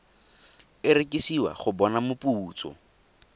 e rekisiwa go bona moputso